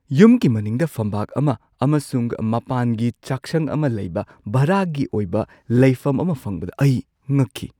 ꯌꯨꯝꯒꯤ ꯃꯅꯤꯡꯗ ꯐꯝꯕꯥꯛ ꯑꯃ ꯑꯃꯁꯨꯡ ꯃꯄꯥꯟꯒꯤ ꯆꯥꯛꯁꯪ ꯑꯃ ꯂꯩꯕ ꯚꯔꯥꯒꯤ ꯑꯣꯏꯕ ꯂꯩꯐꯝ ꯑꯃ ꯐꯪꯕꯗ ꯑꯩ ꯉꯛꯈꯤ꯫